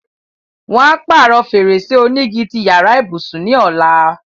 Wọn á pàrọ̀ fèrèsé onígi ti yàrá ìbùsùn ní ọ̀la.